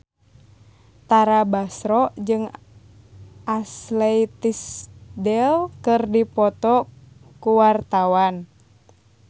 Tara Basro jeung Ashley Tisdale keur dipoto ku wartawan